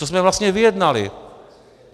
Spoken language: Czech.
Co jsme vlastně vyjednali?